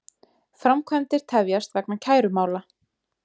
Framkvæmdir tefjast vegna kærumála